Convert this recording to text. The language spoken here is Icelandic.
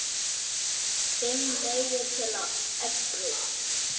FIMM LEIÐIR TIL AÐ EFLA